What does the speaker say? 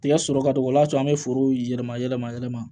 Tigɛ sɔrɔ ka dɔgɔ o y'a sɔrɔ an bɛ foro yɛlɛma yɛlɛma yɛlɛma